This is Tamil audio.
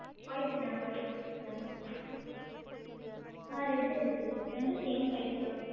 White உ தான் white உ white உ தான் ஆஹ் red உ இருக்கு ரெண்டும் same price தான்